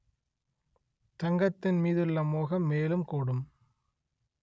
தங்கத்தின்மீதுள்ள மோகம் மேலும் கூடும்